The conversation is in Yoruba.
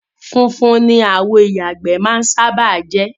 Funfun ni àwo ìyàgbẹ́ máa ń sábáà jẹ́.